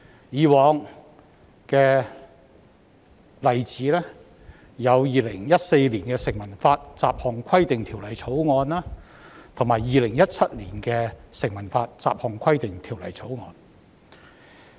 以往的例子有《2014年成文法條例草案》，以及《2017年成文法條例草案》。